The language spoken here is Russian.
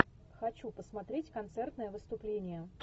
хочу посмотреть концертное выступление